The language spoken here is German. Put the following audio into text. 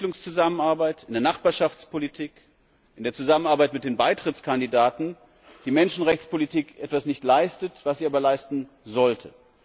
in der Entwicklungszusammenarbeit, in der Nachbarschaftspolitik, in der Zusammenarbeit mit den Beitrittskandidaten die Menschenrechtspolitik etwas nicht leistet, was sie aber leisten sollte.